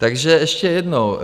Takže ještě jednou.